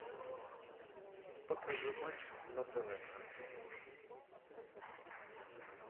покажи матч на тв